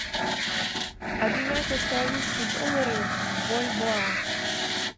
обменять австралийские доллары в бальбоа